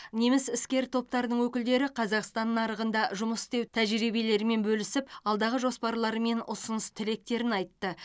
неміс іскер топтарының өкілдері қазақстан нарығында жұмыс істеу тәжірибелерімен бөлісіп алдағы жоспарлары мен ұсыныс тілектерін айтты